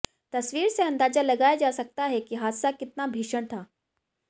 तसवीर से अंदाजा लगाया जा सकता है कि हादसा कितना भीषण था